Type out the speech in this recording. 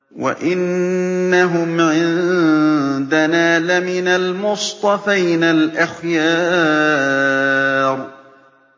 وَإِنَّهُمْ عِندَنَا لَمِنَ الْمُصْطَفَيْنَ الْأَخْيَارِ